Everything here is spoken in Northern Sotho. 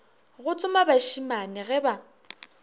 go tsoma bašemane ge ba